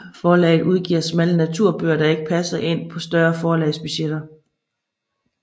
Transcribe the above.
Forlaget udgiver smalle naturbøger der ikke passer ind på større forlags budgetter